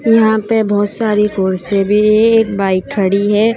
यहां पे बहोत सारी कुर्सी भी ए एक बाइक खड़ी है।